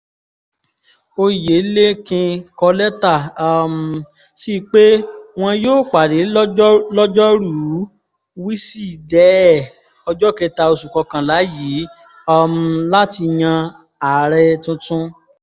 Oyèlékin kọ lẹ́tà um síi pé wọn yóò pàdé lọ́jọ́ lọ́jọ́rùú wísìdẹ́ẹ̀ ọjọ́ kẹta oṣù kọkànlá yìí um láti yan ààrẹ tuntun